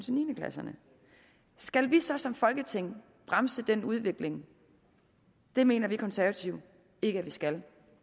niende klasserne skal vi så som folketing bremse den udvikling det mener vi konservative ikke vi skal